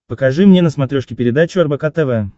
покажи мне на смотрешке передачу рбк тв